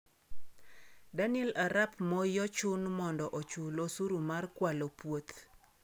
Daniel arap Moi ochun mondo ochul osuru mar kwalo puoth